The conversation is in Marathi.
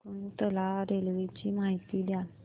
शकुंतला रेल्वे ची माहिती द्या